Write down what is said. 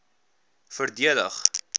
verdedig